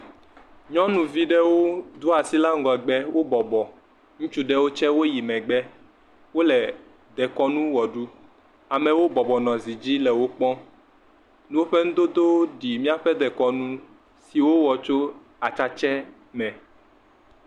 Nyɔnuvi ɖewo do asi ɖa ŋgɔgbe, wobɔbɔ, ŋutsu ɖewo tsɛ woyi megbe, wole dekɔnu wɔ ɖum, amewo bɔbɔ nɔ zi le wo kpɔm, woƒe nudodowo ɖi míaƒe dekɔnu si wowɔ tso atsatsɛ me.